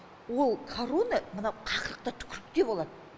ол карона мына қақырықта түкірікте болады